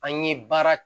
An ye baara